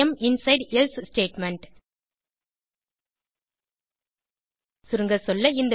E am inside else statement சுருங்கசொல்ல